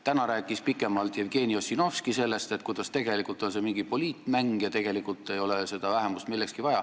Täna rääkis Jevgeni Ossinovski pikemalt sellest, kuidas see on mingi poliitmäng ja tegelikult pole seda vähemust millekski vaja.